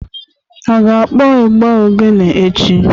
A ga-akpọ ịgbà oghene echi?